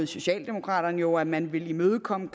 socialdemokraterne jo at man ville imødekomme